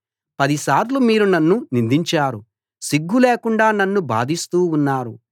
పదిసార్లు మీరు నన్ను నిందించారు సిగ్గు లేకుండా నన్ను బాధిస్తూ ఉన్నారు